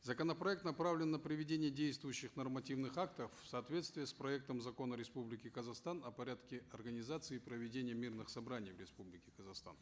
законопроект направлен на приведение действующих нормативных актов в соответствие с проектом закона республики казахстан о порядке организации и проведения мирных собраний в республике казахстан